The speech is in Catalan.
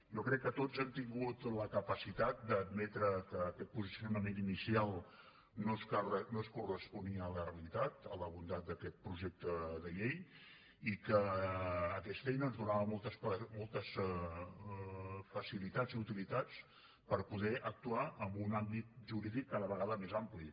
jo crec que tots hem tingut la capacitat d’admetre que aquest posicionament inicial no es corresponia amb la realitat amb la bondat d’aquest projecte de llei i que aquesta eina ens donava moltes facilitats i utilitats per poder actuar en un àmbit jurídic cada vegada més ampli